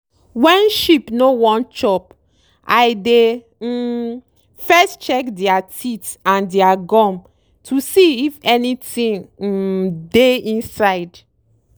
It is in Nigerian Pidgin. wen sheep no wan chop i dey um first check dere teeth and dere gum to see if anytin um dey inside.